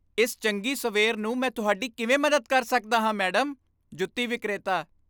ਇਸ ਚੰਗੀ ਸਵੇਰ ਨੂੰ ਮੈਂ ਤੁਹਾਡੀ ਕਿਵੇਂ ਮਦਦ ਕਰ ਸਕਦਾ ਹਾਂ, ਮੈਡਮ? ਜੁੱਤੀ ਵਿਕਰੇਤਾ